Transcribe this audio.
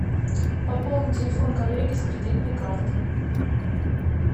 пополнить телефон коллеги с кредитной карты